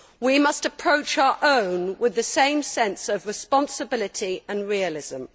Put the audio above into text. We must approach our own with the same sense of responsibility and realism.